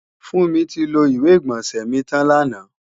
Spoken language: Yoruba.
Fúnmi ti lo ìwé-ìgbọ̀nsẹ̀ mi tàn làná